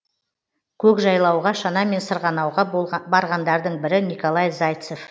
көкжайлауға шанамен сырғанауға барғандардың бірі николай зайцев